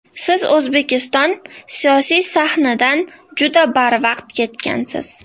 Siz O‘zbekiston siyosiy sahnidan juda barvaqt ketgansiz.